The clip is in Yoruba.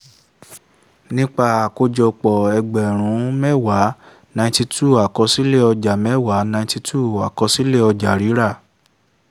nípa àkójọpọ̀ ẹgbẹ̀rún mẹ́wàá ninety two àkọsílẹ̀ ọjà mẹ́wàá ninety two àkọsílẹ̀ ọjà rírà